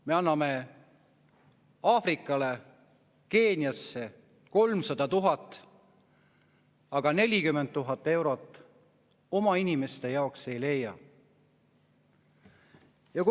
Me anname Aafrikasse, Keeniasse 300 000, aga 40 000 eurot oma inimeste jaoks ei leia.